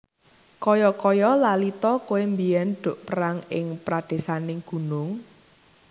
Kaya kaya lali ta kowé mbiyèn duk perang ing pradésaning gunung